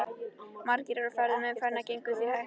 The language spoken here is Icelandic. Margir eru á ferð og umferðin gengur því hægt.